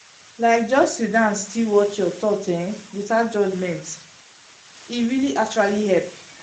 like just sit still watch your thoughts um without judgment —— e really actually help.